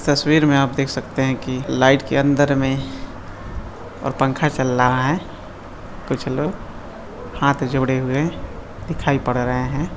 तस्वीर में आप देख सकते है की लाइट के अंदर में और पंखा चल रहा है कुछ लोग हाथ जोड़े हुए दिखाई पड़ रहे हैं ।